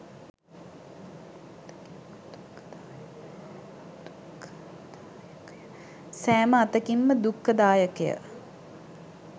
සෑම අතකින්ම දුක්ඛදායකය.